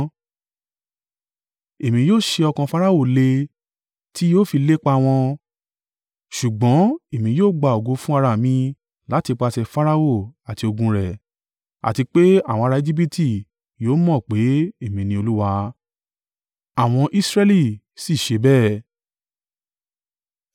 Èmi yóò sé ọkàn Farao le ti yóò fi lépa wọn. Ṣùgbọ́n èmi yóò gba ògo fún ará mi láti ìpàṣẹ Farao àti ogun rẹ̀, àti pé àwọn ará Ejibiti yóò mọ̀ pé Èmi ni Olúwa.” Àwọn Israẹli sì ṣe bẹ́ẹ̀.